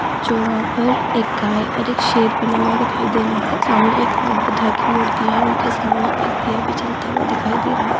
जो वहां पर एक गाय और एक शेर बना हुआ दिखाई दे रहा है सामने एक और बुद्धा की मूर्ति है उनके सामने एक दीया भी जलता हुआ दिखाई दे रहा है।